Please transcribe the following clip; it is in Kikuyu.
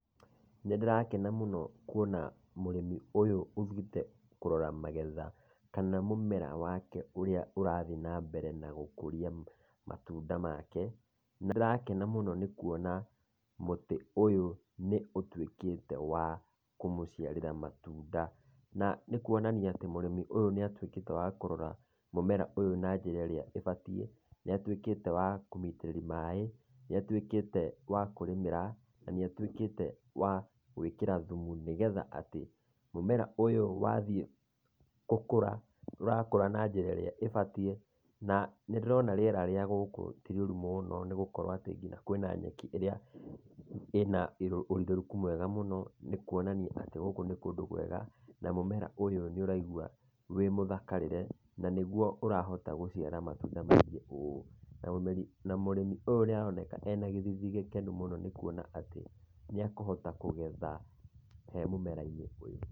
Nĩndĩrakena mũno kuona mũrĩmi ũyũ ũthiĩte kũrora magetha, kana mũmera wake, ũrĩa ũrathiĩ nambere na gũkũria matunda make. Nĩndĩrakena mũno nĩ kuona mũtĩ ũyũ nĩũtuĩkĩte wa kũmũciarĩra matunda. Na nĩkuonania atĩ mũrĩmi ũyũ nĩatuĩkĩte wa kũrora, mũmera ũyũ na njĩra ĩrĩa ĩbatiĩ. Nĩatuĩkĩte wa kũmĩitĩrĩria maĩ, nĩatuĩkĩte wa kũrĩmĩra, na nĩatuĩkĩte wa gũĩkĩra thumu, nĩgetha atĩ, mũmera ũyũ wathiĩ gũkũra, ũrakũra na njĩra ĩrĩa ĩbatiĩ, na nĩndĩrona rĩera rĩa gũkũ ti rĩũru mũũno, nĩgũkorwo atĩ kinya kwĩna nyeki ĩrĩa ĩna ũrirũku mwega mũno, nĩkuonania atĩ gũkũ nĩ kũndũ kwega, na mũmera ũyũ nĩũraigua wĩ mũthakarĩre na nĩguo ũrahota gũciara matunda maingĩ ũũ, na mũmĩri, na mũrĩmi ũyũ nĩaroneka ena gĩthithi gĩkenu mũno nĩkuona atĩ, nĩekũhota kũgetha he mũmera-inĩ ũyũ.